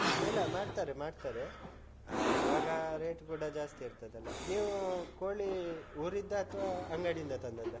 ಇಲ್ಲ ಮಾಡ್ತಾರೆ ಮಾಡ್ತಾರೆ. ಇವಾಗ rate ಕೂಡ ಜಾಸ್ತಿ ಇರ್ತ್ತದಲ್ಲ. ನೀವು ಕೋಳಿ ಊರಿದ್ದಾ ಅಥ್ವ ಅಂಗಡಿಯಿಂದ ತಂದದ್ದಾ?